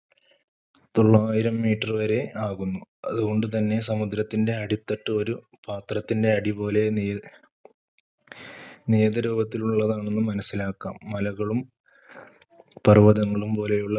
തൊള്ളായിരം meter വരെ ആകുന്നു. അതുകൊണ്ടുതന്നെ സമുദ്രത്തിന്‍റെ അടിത്തട്ട് ഒരു പാത്രത്തിന്‍റെ അടി പോലെ നിയതരൂപത്തിലുള്ളതാണെന്ന് മനസ്സിലാക്കാം. മലകളും പർവതങ്ങളും പോലെയുള്ള